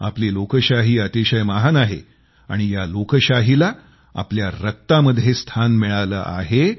आपली लोकशाही अतिशय महान आहे आणि या लोकशाहीला आमच्या रक्तामध्ये स्थान मिळालं आहे